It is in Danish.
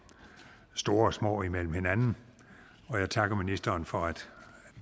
store og små imellem hinanden og jeg takker ministeren for at